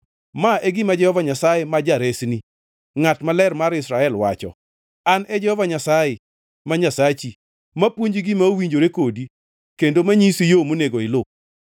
Ma e gima Jehova Nyasaye, ma Jaresni, Ngʼat Maler mar Israel wacho: “An e Jehova Nyasaye, ma Nyasachi, mapuonji gima owinjore kodi kendo manyisi yo monego iluw.